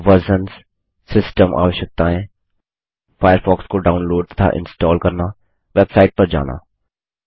versions system आवश्यकताएं Firefox को download तथा इंस्टाल करना वेबसाइट पर जाना